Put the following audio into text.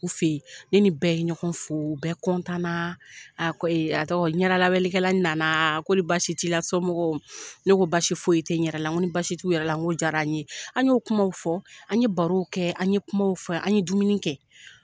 U fen in, ne ni bɛɛ ye ɲɔgɔn fo, bɛɛ na, a a tɔgɔ ɲɛdalabɛnnikɛla nana kor'i basi t'i la somɔgɔw? Ne ko basi foyi ti n yɛrɛ la, n ko ni basi t'u yɛrɛ la, n ko jara an ye, an ye o kumaw fɔ, an ye barow kɛ, an ye kumaw fɔ, an ye dumuni kɛ